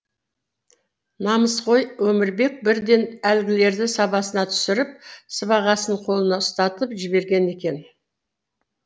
намысқой өмірбек бірден әлгілерді сабасына түсіріп сыбағасын қолына ұстатып жіберген екен